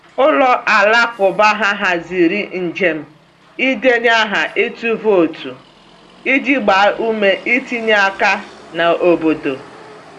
Ụlọ alakụba ha haziri njem ịdenye aha ịtụ vootu iji gbaa ume itinye aka n’obodo.